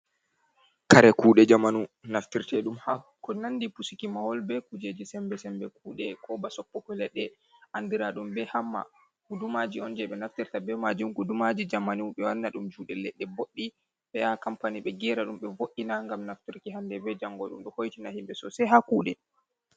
Kare kuɗe jamanu naftirta ɗum hako nandi pusiki mahol be kujeji sembe sembe kuɗe, koba soppogo leɗɗe andira ɗum be hamma, gudumaji on je ɓe naftirta be majum, gudumaji jamanu ɓe wanna ɗum juɗe leɗɗe boɗɗi be ha kampani be kera ɗum be vo’ina, ngam naftirki hande be jango, ɗum ɗo hoytina himɓe sosei ha kuɗe.